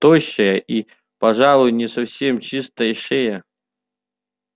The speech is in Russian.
тощая и пожалуй не совсем чистая шея